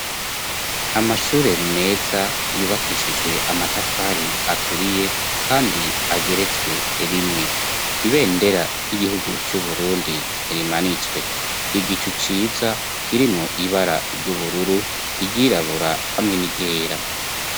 Amashure meza yubakishijwe amatafari aturiye kandi ageretswe rimwe, ibendera ry'igihugu c'uburundi rimanitswe, igicu ciza kirimwo ibara ry'ubururu, iryirabura hamwe n'iryera.